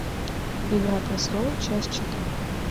игра престолов часть четыре